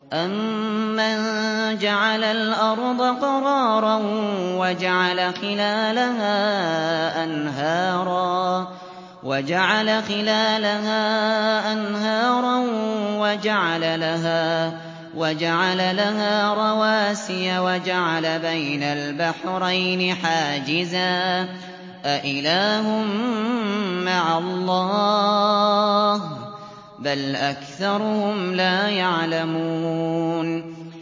أَمَّن جَعَلَ الْأَرْضَ قَرَارًا وَجَعَلَ خِلَالَهَا أَنْهَارًا وَجَعَلَ لَهَا رَوَاسِيَ وَجَعَلَ بَيْنَ الْبَحْرَيْنِ حَاجِزًا ۗ أَإِلَٰهٌ مَّعَ اللَّهِ ۚ بَلْ أَكْثَرُهُمْ لَا يَعْلَمُونَ